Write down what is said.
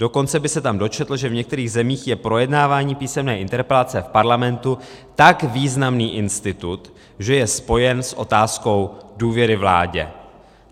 Dokonce by se tam dočetl, že v některých zemích je projednávání písemné interpelace v parlamentu tak významný institut, že je spojen s otázkou důvěry vládě.